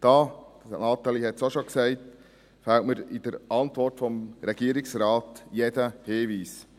Dazu fehlt mir in der Antwort des Regierungsrates jeder Hinweis.